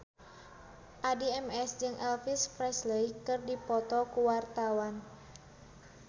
Addie MS jeung Elvis Presley keur dipoto ku wartawan